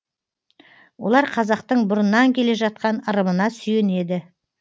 олар қазақтың бұрыннан келе жатқан ырымына сүйенеді